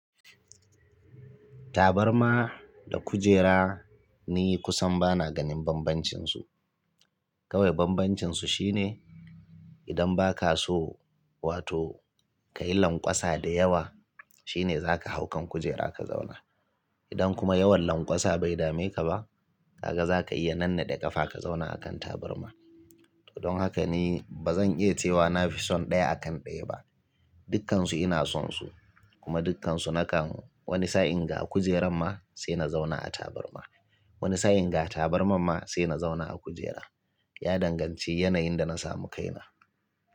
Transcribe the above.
Tabarma da kujera ni kusan bana ganin bambancinsu. Kawai bambancinsu shine idan ba ka so wato ka yi lanƙwasa da yawa shine za ka hau kan kujera ka zauna. Idan kuma yawan lanƙwasa bai dame ka ba, kaga za ka iya nanna de ƙafa ka zauna a kan tabarma. To don haka ni ba zan iya cewa na fi son ɗaya akan ɗaya ba. Dukkansu ina son su kuma dukkansu na kan. Wani sa'in ga kujerar ma sai na zauna a tabarma. Wani sa'in ga tabarma ma sai na zauna a kujera. Ya danganci yanayin da na samu kaina.